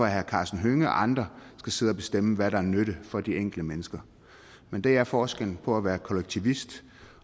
herre karsten hønge og andre skal sidde og bestemme hvad der er nytte for de enkelte mennesker men det er forskellen på at være kollektivist